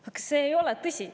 Aga see ei ole tõsi.